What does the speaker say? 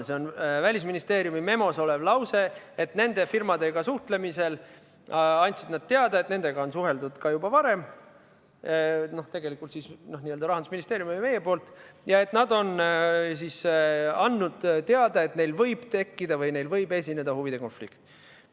See on Välisministeeriumi memos olev lause, et need firmad andsid teada, et nendega on suheldud ka juba varem, tegelikult siis n-ö Rahandusministeeriumi või meie poolt, ja et nad on andnud teada, et neil võib esineda huvide konflikt.